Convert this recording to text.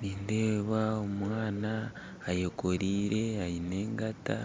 Nindeeba omwaana ayekoreire aine engata